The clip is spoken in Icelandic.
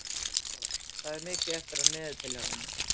Ora, hvað er mikið eftir af niðurteljaranum?